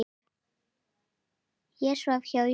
Ég svaf hjá Jónu.